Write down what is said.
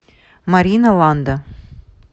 марина ланда